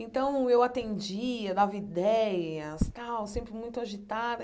Então, eu atendia, dava ideias tal, sempre muito agitada.